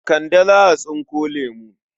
Kande za a tsinko lemo.